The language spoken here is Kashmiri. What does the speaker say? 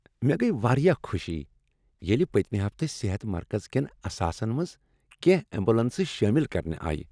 مےٚ گٔیۍ واریاہ خوشی ییٚلہ پٔتمہ ہفتہٕ صحت مرکز کیٚن اثاثن منٛز کیٚنٛہہ ایمبولینسہٕ شٲمل کرنہٕ آیہ۔